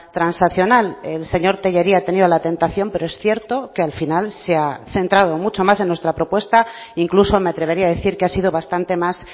transaccional el señor tellería ha tenido la tentación pero es cierto que al final se ha centrado mucho más en nuestra propuesta incluso me atrevería a decir que ha sido bastante más